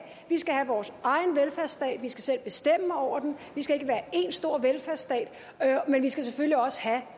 vi skal have vores egen velfærdsstat vi skal selv bestemme over den vi skal ikke være én stor velfærdsstat men vi skal selvfølgelig også have